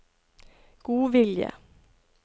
godvilje